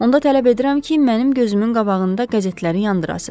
Onda tələb edirəm ki, mənim gözümün qabağında qəzetləri yandırasız.